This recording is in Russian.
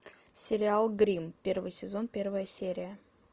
сериал гримм первый сезон первая серия